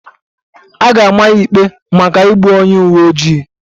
A ga-ama ya ikpe maka igbu onye uwe ojii